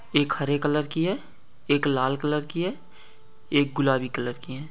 एक हरे कलर की है एक लाल कलर की है एक गुलाबी कलर की है।